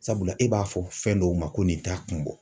Sabula e b'a fɔ fɛn dɔw ma ko nin t'a kun bɔ.